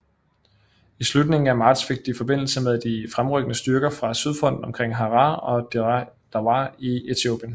I slutningen af marts fik de forbindelse med de fremrykkende styrker fra Sydfronten omkring Harar og Dire Dawa i Etiopien